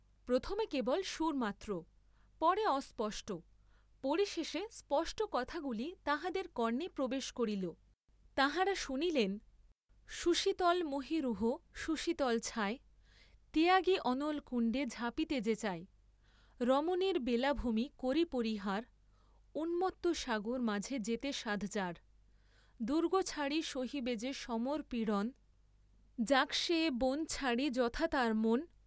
প্রথমে কেবল সুরমাত্র, পরে অস্পষ্ট, পরিশেষে স্পষ্ট কথাগুলি তাঁহাদেব কর্ণে প্রবেশ করিল, তাঁহারা শুনিলেন, সুশীতল মহীরুহ সুশীতল ছায় তেয়াগি অনলকুণ্ডে ঝাঁপিতে যে চায়, রমণীর বেলা ভূমি করি পরিহার, উন্মত্ত সাগর মাঝে যেতে সাধ যার, দুর্গ ছাড়ি সহিবে যে সমর পীড়ন, যাক সে এ বন ছাড়ি যথা তার মন।